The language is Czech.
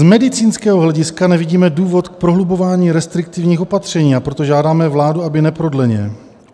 "Z medicínského hlediska nevidíme důvod k prohlubování restriktivních opatření, a proto žádáme vládu, aby neprodleně: